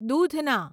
દૂધના